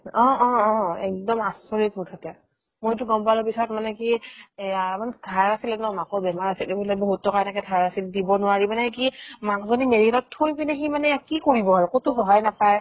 অ অ অ একদম আচৰিত মুঠতে মইটো গম পালো পিছত মানে কি এয়া মানে ধাৰ আছিলে ন মাকৰ বেমাৰ আছিল এইবিলাক বহুত টকা এনেকে ধাৰ আছিল দিব নোৱাৰি মানে কি মাকজনীক medical ত থৈ পিনে সি মানে ইয়াত কি কৰিব আৰু ক'তো সহায় নাপায়